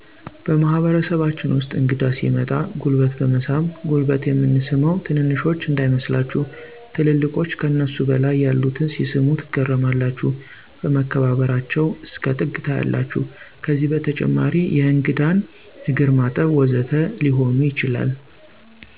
በማህበረሰባችን ውስጥ እንግዳ ሲመጣ ጉልበት በመሳም ጉልበት የምንስመው ትንንሾች እንዳይመስላችሁ ትልልቆች ከነሱ በላይ ያሉትን ሲስሙ ትገረማላችሁ መከባበበራቸው እስከ ጥግ ታያላችሁ ከዛም በተጨማሪ የእንግዳን እግርማጠብ ወዘተ ሊሆኑ ይችላሉ።